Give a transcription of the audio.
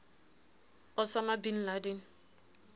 osama bin laden